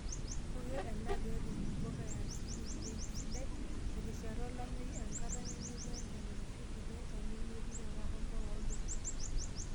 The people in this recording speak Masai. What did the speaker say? Keiko ena pee etum mpuka e asili bei sidai terishata olameyu enkata nemetii enchan aashu aa kiti enchan nemetii nakata mpuka olduka.